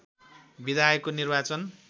विधायकको निर्वाचन